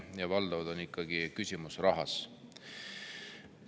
Valdavalt on ikkagi küsimus rahas.